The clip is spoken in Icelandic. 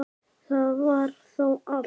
Það var þá allt.